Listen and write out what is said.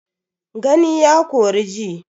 Gani ya kori ji.